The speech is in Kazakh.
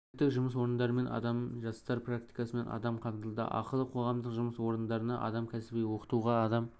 әлеуметтік жұмыс орындарымен адам жастар практикасымен адам қамтылды ақылы қоғамдық жұмыс орындарына адам кәсіби оқытуға адам